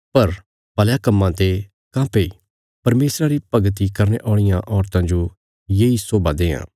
पर भलयां कम्मां ते काँह्भई परमेशरा री भगती करने औलियां औरतां जो येई शोभा देआं